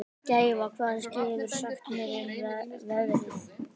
Gæfa, hvað geturðu sagt mér um veðrið?